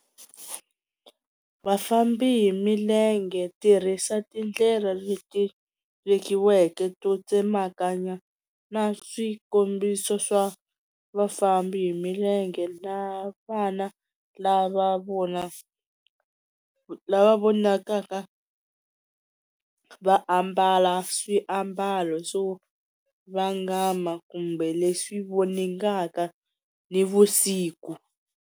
Vafambi hi milenge tirhisa tindlela leti vekiweke to tsemakanya na swikombiso swa vafambi hi milenge na vana lava vona lava vonakaka va ambala swiambalo swo vangama kumbe leswi voningaka nivusiku.